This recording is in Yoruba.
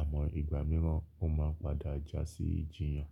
àmọ́ ìgbà mìíràn mó máa padà jásí ijìyàn.